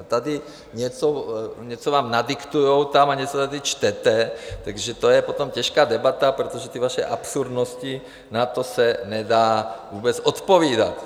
A tady vám něco nadiktujou a něco tady čtete, takže to je potom těžká debata, protože ty vaše absurdnosti, na to se nedá vůbec odpovídat.